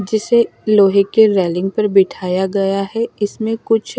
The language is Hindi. जिसे लोहे के रेलिंग पर बिठाया गया हैं इसमें कुछ--